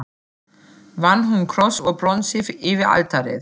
Vann hún kross úr bronsi yfir altarið.